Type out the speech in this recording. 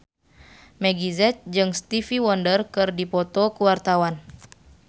Meggie Z jeung Stevie Wonder keur dipoto ku wartawan